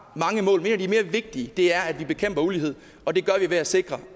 mange mål et af de mere vigtige er at vi bekæmper ulighed og det gør vi ved at sikre